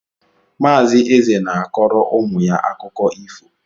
Mazi Eze na-akọrọ ụmụ ya akụkọ ifo